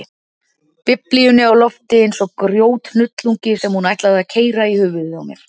Biblíunni á lofti eins og grjóthnullungi sem hún ætlaði að keyra í höfuðið á mér.